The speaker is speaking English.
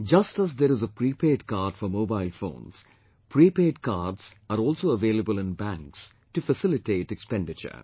Just as there is a prepaid card for mobile phones, prepaid cards are also available in banks to facilitate expenditure